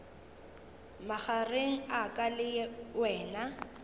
magareng a ka le wena